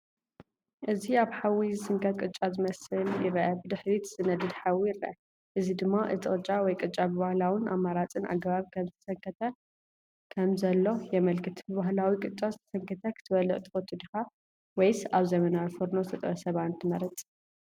እዚ ኣብ ሓዊ ዝስንከት ቅጫ ዝመስል ይርአ። ብድሕሪት ዝነድድ ሓዊ ይርአ፣ እዚ ድማ እቲ ቅጫ ወይ ቅጫ ብባህላውን ኣማራጺን ኣገባብ ከምዝተሰንከተ ከምዘሎ የመልክት። ብባህላዊ ቅጫ ዝተሰንከተ ክትበልዕ ትፈቱ ዲኻ? ወይስ ኣብ ዘመናዊ ፎርኖ ዝተጠብሰ ባኒ ትመርጽ?